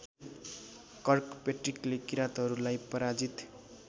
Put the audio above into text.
कर्कपेट्रिकले किराँतहरूलाई पराजित